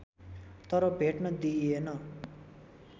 तर भेट्न दिइएन